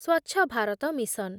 Swachh Bharat mission